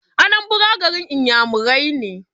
Anambra garin iyamurai ne